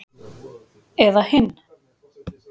Eða hinn